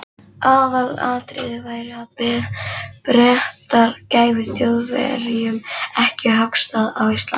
Aðalatriðið væri, að Bretar gæfu Þjóðverjum ekki höggstað á Íslendingum.